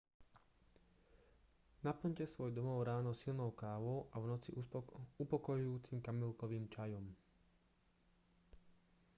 naplňte svoj domov ráno silnou kávou a v noci upokojujúcim kamilkovým čajom